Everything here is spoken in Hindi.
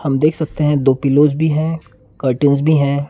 हम देख सकते हैं दो पिल्लोज भी हैं कर्टेन्स भी है।